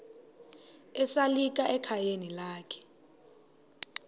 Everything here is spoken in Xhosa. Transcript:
esalika ekhayeni lakhe